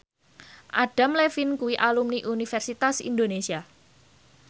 Adam Levine kuwi alumni Universitas Indonesia